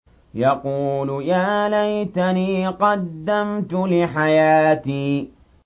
يَقُولُ يَا لَيْتَنِي قَدَّمْتُ لِحَيَاتِي